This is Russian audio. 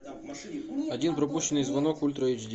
один пропущенный звонок ультра эйч ди